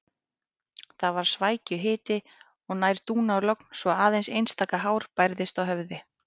Það var svækjuhiti og nær dúnalogn svo aðeins einstaka hár bærðist á höfði.